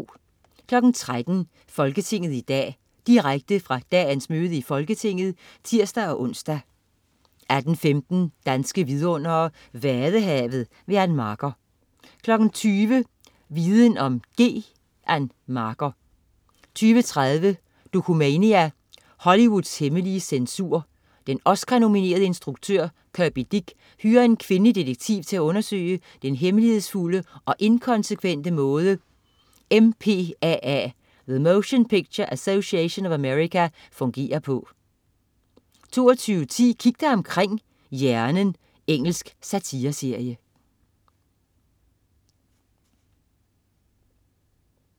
13.00 Folketinget i dag. Direkte fra dagens møde i Folketinget (tirs-ons) 18.15 Danske vidundere: Vadehavet. Ann Marker 20.00 Viden om G. Ann Marker 20.30 Dokumania: Hollywoods hemmelige censur. Den Oscarnominerede instruktør Kirby Dick hyrer en kvindelig detektiv til at undersøge den hemmelighedsfulde og inkonsekvente måde MPAA, The Motion Picture Association of America, fungerer på 22.10 Kig dig omkring: Hjernen. Engelsk satireserie